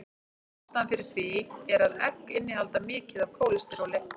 Ástæðan fyrir því er að egg innihalda mikið af kólesteróli.